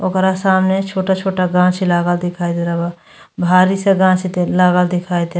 ओकरा सामने छोटा-छोटा गांछि लागा दिखाई दे रह बा। भारी से गांछि दे लागल दे --